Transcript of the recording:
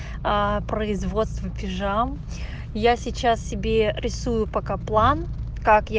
производство пижам я сейчас себе рисую пока план как я